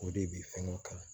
O de bi fɛnkɛ kan